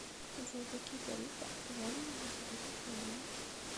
джой какие тарифы актуальны на сегодняшний день